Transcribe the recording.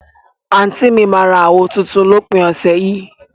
anti mi mà ra àwó tùntùn lópin ọsẹ yìí.